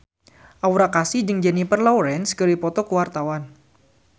Aura Kasih jeung Jennifer Lawrence keur dipoto ku wartawan